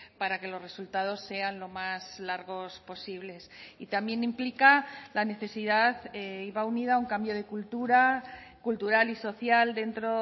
para que los resultados sean lo más largos posibles y también implica la necesidad y va unida a un cambio de cultura cultural y social dentro